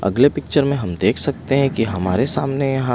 अगले पिक्चर में हम देख सकते हैं कि हमारे सामने यहाँ --